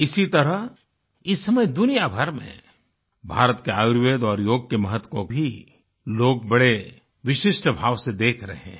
इसी तरह इस समय दुनियाभर में भारत के आयुर्वेद और योग के महत्व को भी लोग बड़े विशिष्टभाव से देख रहे हैं